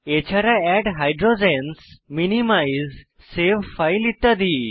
এছাড়া add hydrogens minimize save file ইত্যাদি